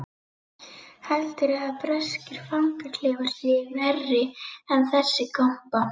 Heldurðu að breskir fangaklefar séu verri en þessi kompa?